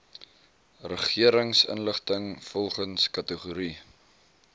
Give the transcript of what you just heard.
regeringsinligting volgens kategorie